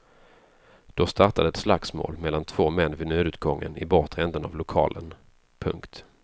Då startade ett slagsmål mellan två män vid nödutgången i bortre änden av lokalen. punkt